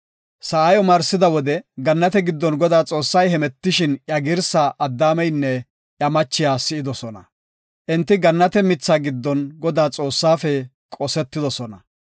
Sa7i omarsida wode gannate giddon Godaa Xoossay hemetishin iya girsa Addaameynne iya machiya si7idosona. Enti gannate mitha giddon Godaa Xoossafe qosetidosona.